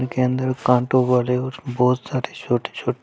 के अंदर कांटों वाले और बहुत सारे छोटे --